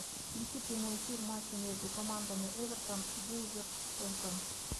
включи прямой эфир матча между командами эвертон вулверхэмптон